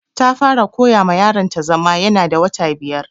Ta fara koya ma yaron ta zama ya na da wata biyar